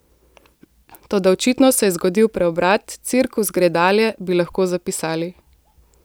Toda očitno se je zgodil preobrat, cirkus gre dalje, bi lahko zapisali.